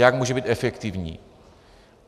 Jak může být efektivní?